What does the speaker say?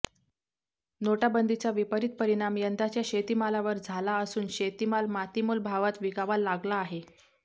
नोटाबंदीचा विपरीत परिणाम यंदाच्या शेतीमालावर झाला असून शेतीमाल मातीमोल भावात विकावा लागला आहे